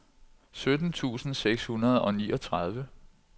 sytten tusind seks hundrede og niogtredive